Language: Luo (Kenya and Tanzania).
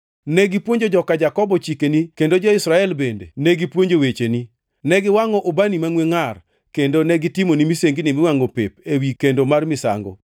Negipuonjo joka Jakobo chikeni kendo jo-Israel bende negipuonjo wecheni. Ne giwangʼo ubani mangʼwe ngʼar kendo negitimoni misengini miwangʼo pep ewi kendo mar misango.